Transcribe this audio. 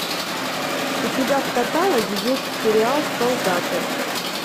у тебя в каталоге есть сериал солдаты